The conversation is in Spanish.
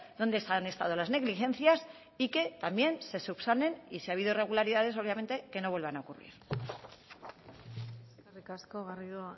dónde han estado las negligencias y que también se subsanen y si ha habido irregularidades obviamente que no vuelvan a ocurrir eskerrik asko garrido